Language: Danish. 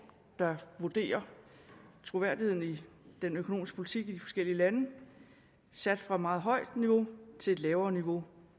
der vurderer troværdigheden i den økonomiske politik i de forskellige lande sat fra et meget højt niveau til et lavere niveau